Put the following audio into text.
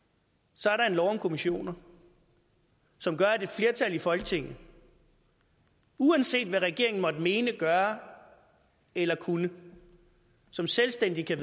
så er der en lov om kommissioner som gør at et flertal i folketinget uanset hvad regeringen måtte mene gøre eller kunne selvstændigt